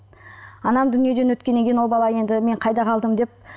анам дүниеден өткеннен кейін ол бала енді мен қайда қалдым деп